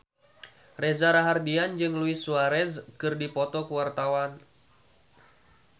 Reza Rahardian jeung Luis Suarez keur dipoto ku wartawan